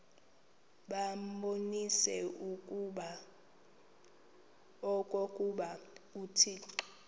babonise okokuba uthixo